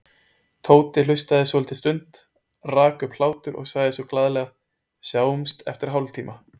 Tóti hlustaði svolitla stund, rak upp hlátur og sagði svo glaðlega: Sjáumst eftir hálftíma